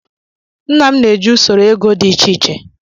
Nna m na-eji usoro ego dị iche iche.